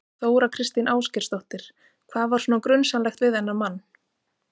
Þóra Kristín Ásgeirsdóttir: Hvað var svona grunsamlegt við þennan mann?